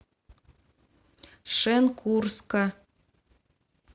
шенкурска